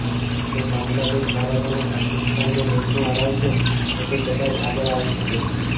જો બાંગ્લાદેશ ભારત અને પાકિસ્તાનને મેચમાં હરાવશે તો તે કદાચ આગળ આવી શકે છે